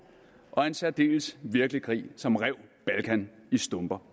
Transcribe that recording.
og en særdeles virkelig krig som rev balkan i stumper